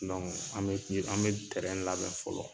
an bɛ an bɛ tɛrɛn labɛn fɔlɔ.